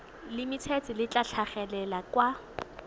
limited le tla tlhagelela kwa